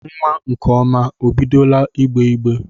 Nwa nkeọma e bidola igbeigbe?